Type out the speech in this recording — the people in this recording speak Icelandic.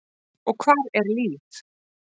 Og hvar er Líf?